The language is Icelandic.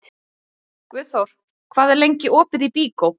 Guðþór, hvað er lengi opið í Byko?